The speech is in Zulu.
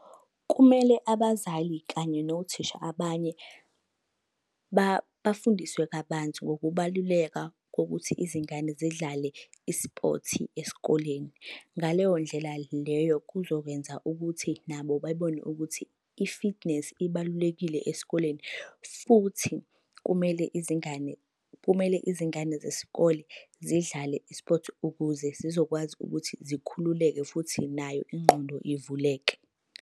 Kumele abazali kanye nothisha abanye bafundiswe kabanzi ngokubaluleka kokuthi izingane zidlale i-sport esikoleni. Ngaleyo ndlela leyo, kuzokwenza ukuthi nabo bebone ukuthi i-fitness ibalulekile esikoleni. Futhi kumele izingane, kumele izingane zesikole zidlale i-sport ukuze zizokwazi ukuthi zikhululeke futhi nayo ingqondo ivuleke.